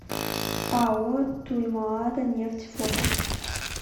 ао туймаада нефть фото